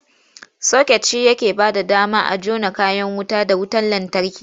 Soket shi yake bayar da dama a jona kayan wuta da wutar lantarki.